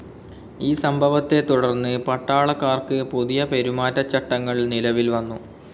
ഈ സംഭവത്തെത്തുടർന്ന് പട്ടാളക്കാർക്ക് പുതിയ പെരുമാറ്റച്ചട്ടങ്ങൾ നിലവിൽ വന്നു.